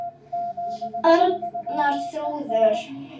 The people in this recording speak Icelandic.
Arnar og Þrúður.